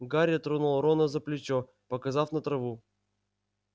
гарри тронул рона за плечо показав на траву